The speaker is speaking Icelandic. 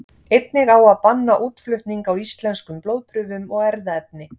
Einnig á að banna útflutning á íslenskum blóðprufum og erfðaefni.